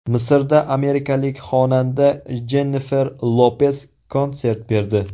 Misrda amerikalik xonanda Jennifer Lopes konsert berdi.